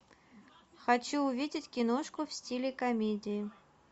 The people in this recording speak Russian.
хочу увидеть киношку в стиле комедии